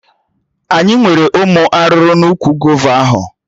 Aga enwere ụmụ arụrụ n'úkwù gova ahụ